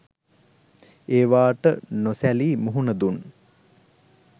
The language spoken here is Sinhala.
ඒවාට නොසැලී මුහුණ දුන්